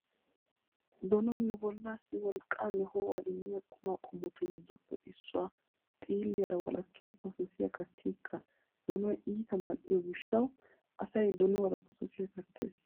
Donoy nu bollaassi wolqqaanne ho'uwaa immiya qumaa qommotu giddoppe issuwaa . Xiilliyaara walakkidi pososiyaa kattinikka donoy iita mal'iyo gishshawu asay donuwaara pososiyaa kattees.